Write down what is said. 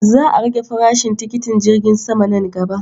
Za a rage farashin tikitin jirgi sama nan gaba.